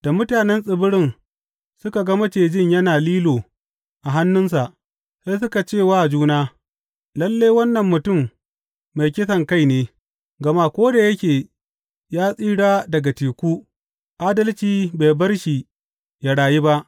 Da mutanen tsibirin suka ga macijin yana lilo a hannunsa, sai suka ce wa juna Lalle, wannan mutum mai kisankai ne; gama ko da yake ya tsira daga teku, Adalci bai bar shi ya rayu ba.